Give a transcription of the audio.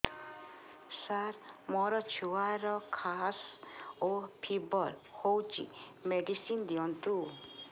ସାର ମୋର ଛୁଆର ଖାସ ଓ ଫିବର ହଉଚି ମେଡିସିନ ଦିଅନ୍ତୁ